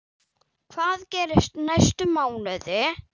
Hvað gerist næstu mánuði?